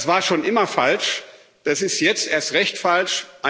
Das war schon immer falsch, das ist jetzt erst recht falsch.